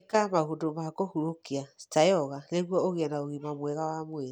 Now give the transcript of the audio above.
Ĩka maũndũ ma kũhurũkia ta yoga nĩguo ũgĩe na ũgima mwega wa mwĩrĩ.